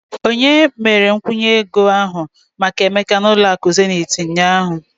Onye mere nkwụnye ego ahụ maka emeka na zenith ụlọ akụ ụnyahụ?